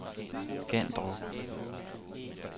Gandrup